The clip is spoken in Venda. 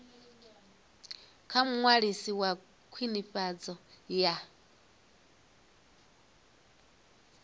kha muṅwalisi wa khwinifhadzo ya